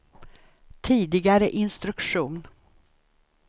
tidigare instruktion